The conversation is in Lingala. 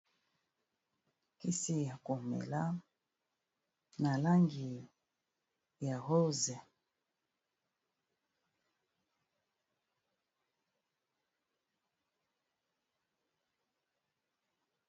Kisi ya ko mela na langi ya rose.